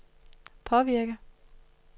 påvirke